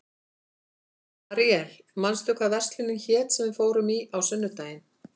Aríel, manstu hvað verslunin hét sem við fórum í á sunnudaginn?